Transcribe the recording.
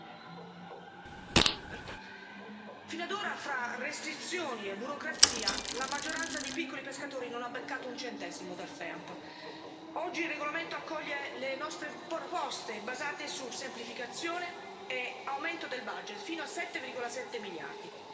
Signor Presidente, onorevoli colleghi, fino ad ora, fra restrizioni e burocrazia, la maggioranza dei piccoli pescatori non ha beccato un centesimo dal FEAMP. Oggi il regolamento accoglie le nostre proposte basate su semplificazione e aumento del fino a 7,7 miliardi.